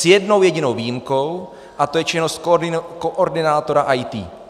S jednou jedinou výjimkou, a to je činnost koordinátora IT.